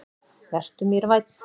Vertu mér vænn.